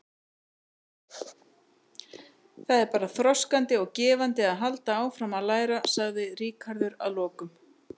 Það er bara þroskandi og gefandi að halda áfram að læra, sagði Ríkharður að lokum.